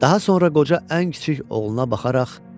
Daha sonra qoca ən kiçik oğluna baxaraq,